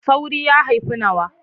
Saurayi ya haifi nawa.